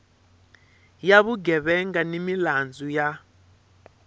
ya vugevenga ni milandzu ya